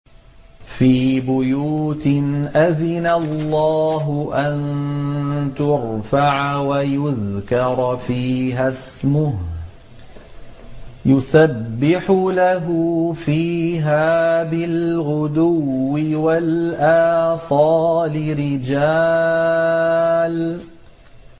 فِي بُيُوتٍ أَذِنَ اللَّهُ أَن تُرْفَعَ وَيُذْكَرَ فِيهَا اسْمُهُ يُسَبِّحُ لَهُ فِيهَا بِالْغُدُوِّ وَالْآصَالِ